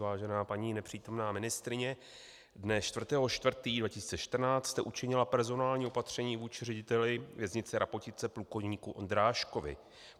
Vážená paní nepřítomná ministryně, dne 4. 4. 2014 jste učinila personální opatření vůči řediteli věznice Rapotice plukovníku Ondráškovi.